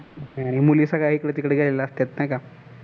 मुली सगळ्या इकडे तिकडे गेलेल्या असत्यात नाही का